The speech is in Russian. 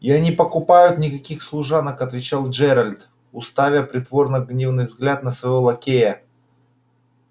я не покупаю никаких служанок отвечал джералд уставя притворно гневный взгляд на своего лакея